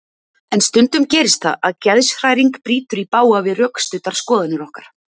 En stundum gerist það að geðshræring brýtur í bága við rökstuddar skoðanir okkar.